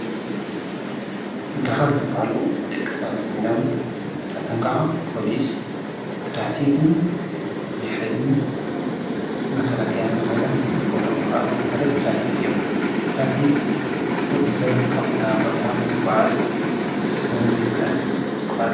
ሕጊ ኣኽበርቲ ዝበሃሉ ደቂ ሰባት ኮይኖም ንሳቶም ኸዓ ፖሊስ፣ ትራፊክ፣ ፉሉይ ሓይልን መከላክያን ተባሂሎም ይኽፈሉ። ካብኣቶም ሓደ ትራፊክ እዩ። ትራፊክ ወዲ ሰብ ካብ ቦታ ናብ ቦታ ምስ ዝጓዓዝ ብዙሕ ሰብ ንከይፅዕን ይከላከሉ።